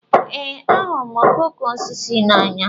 Ee, ahụrụ m okooko osisi n'anya.